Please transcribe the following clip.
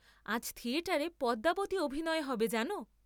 আজ থিয়েটারে পদ্মাবতী অভিনয় হবে জান?